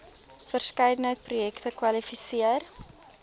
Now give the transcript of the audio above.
verskeidenheid projekte kwalifiseer